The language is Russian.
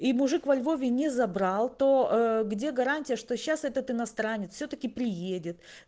и мужик во львове не забрал то где гарантия что сейчас этот иностранец всё-таки приедет